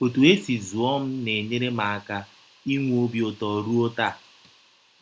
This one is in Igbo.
Ọtụ e si zụọ m na - enyere m aka inwe ọbi ụtọ rụọ taa.